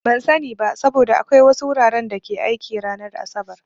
Ban sani ba, saboda akwai wasu wuraren da ke aiki ranar asabar.